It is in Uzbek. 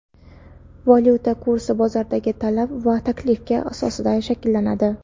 Valyuta kursi bozordagi talab va taklifga asosida shakllanadi.